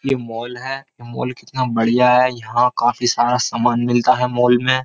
ये मॉल है। मॉल कितना बढ़िया है। यहाँ काफी सारा सामान मिलता है मॉल में।